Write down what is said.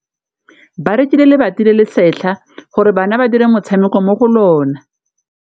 Ba rekile lebati le le setlha gore bana ba dire motshameko mo go lona.